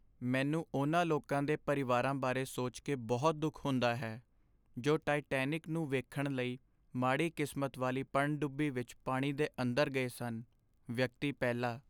ਮੈਨੂੰ ਉਹਨਾਂ ਲੋਕਾਂ ਦੇ ਪਰਿਵਾਰਾਂ ਬਾਰੇ ਸੋਚਕੇ ਬਹੁਤ ਦੁੱਖ ਹੁੰਦਾ ਹੈ ਜੋ ਟਾਇਟੈਨਿਕ ਨੂੰ ਵੇਖਣ ਲਈ ਮਾੜੀ ਕਿਸਮਤ ਵਾਲੀ ਪਣਡੁੱਬੀ ਵਿੱਚ ਪਾਣੀ ਦੇ ਅੰਦਰ ਗਏ ਸਨ ਵਿਅਕਤੀ ਪਹਿਲਾ